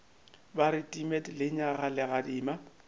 ba re timet lenyaga legadima